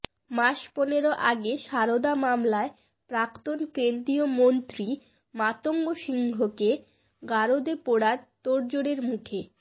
মাস পনেরো আগে সারদা মামলায় প্রাক্তন কেন্দ্রীয় মন্ত্রী মাতঙ্গ সিংহকে গারদে পোরার তোড়জোড়ের মুখে